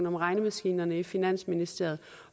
om regnemaskinerne i finansministeriet